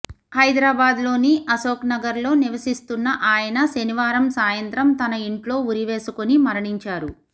హైదరాబాద్లోని అశోక్నగర్లో నివసిస్తున్న ఆయన శనివారం సాయంత్రం తన ఇంట్లో ఉరి వేసుకుని మరణించారు